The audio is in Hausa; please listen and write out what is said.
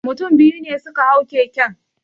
Mutum biyu ne suka hau keken